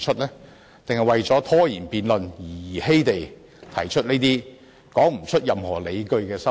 還是為了拖延辯論而兒戲地提出這些說不出任何理據的修訂？